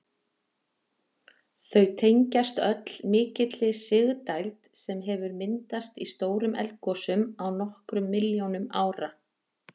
Þau tengjast öll mikilli sigdæld sem hefur myndast í stórum eldgosum á nokkrum milljónum ára.